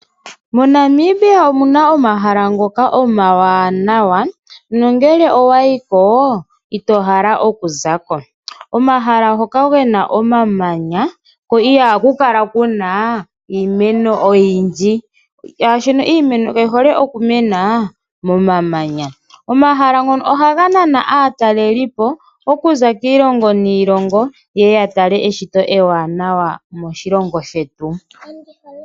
MoNamibia omuna omahala ngoka omawanawa, nongele owayi ko, ito hala oku zako. Omahala ngoka gena omamanya, ko ihaku kala kuna iimeno oyindji, molwaashoka iimeno kayi hole okumena momamanya. Omahala ngono ohaga nana aatalelipo okuza kiilongo niilongo ye ye yatale eshito ewanawa moshilongo shetu.